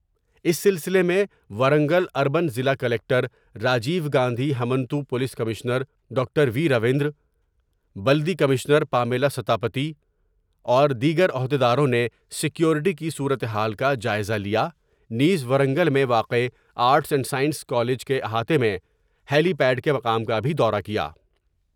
اس سلسلے میں ورنگل اربن ضلع collector Rajiv Gandhi ہمنتو police commissioner doctor وی رویندر بلدی کمشنر پامیلاستا پتی اور دیگر عہدیداروں نے سکیورٹی کی صورتحال کا جائزہ لیا نیز ورنگل میں واقع آرٹس اینڈ سائنس کالج کے احاطہ میں ہیلی پیاڈ کے مقام کا بھی دورہ کیا ۔